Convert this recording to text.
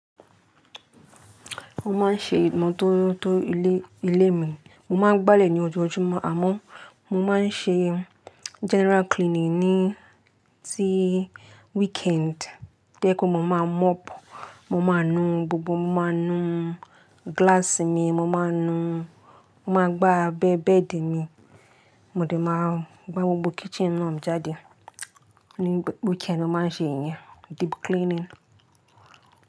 Mo máa ń ṣe ìmọ́tótó ilé, ilé mi. Mo máa ń gbálẹ̀ ní ojoojúmọ́ àmọ́ mo máa ń ṣe general cleaning ní ti weekend. To jẹ́ pe mo máa mọ́p, mo máa nu gbogbo, mo máa nu glass mi, mo máa nu, mo máa gbá abẹ́ bed mi, mo dẹ̀ máa gbá gbogbo kitchen náà jáde. Ní gbo, weekend ni mo máa ń ṣe ìyẹn, deep cleaning.